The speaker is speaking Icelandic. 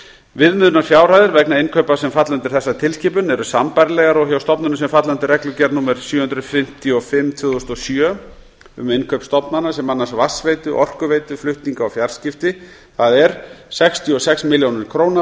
viðmiðunarfjárhæðir vegna innkaupa sem falla undir þessa tilskipun eru sambærilegar og hjá stofnunum sem falla undir reglugerð númer sjö hundruð fimmtíu og fimm tvö þúsund og sjö um innkaup stofnana sem annast vatnsveitu orkuveitu flutninga og fjarskipti það er sextíu og sex milljónir króna